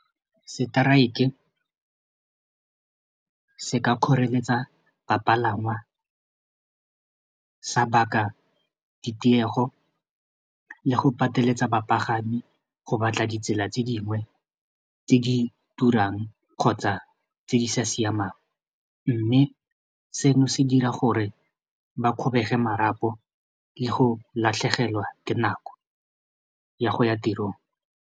Strike se ka kgoreletsa bapalangwa sa baka ditiego le go pateletsa bapagami go batla ditsela tse dingwe tse di turang kgotsa tse di sa siamang mme seno se dira gore ba kgobege marapo le go latlhegelwa ke nako ya go ya tirong.